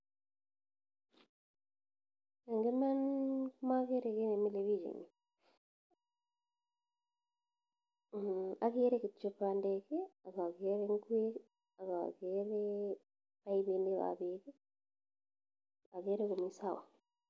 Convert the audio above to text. Ing iman komakere kit nemile pik in yu , akere kityo bandek akakere ngwek akakere paipinik ap pek akere komi sawa.